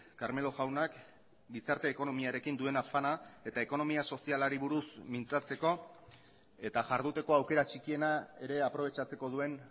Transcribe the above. carmelo jaunak gizarte ekonomiarekin duen afana eta ekonomia sozialari buruz mintzatzeko eta jarduteko aukera txikiena ere aprobetxatzeko duen